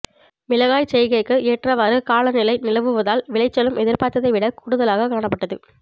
மிளகாய்ச் செய்கைக்கு ஏற்றவாறு காலநிலை நிலவுவதால் விளைச்சலும் எதிர்பார்த்ததை விட கூடுதலாகக் காணப்பட்டது